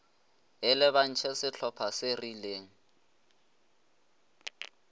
e lebantšhe sehlopa se rileng